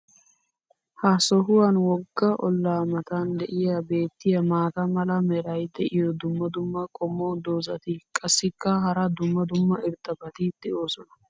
ha sohuwan woga olaa matan diya beetiya maata mala meray diyo dumma dumma qommo dozzati qassikka hara dumma dumma irxxabati doosona.